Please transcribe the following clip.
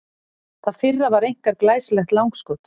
Það fyrra var einkar glæsilegt langskot.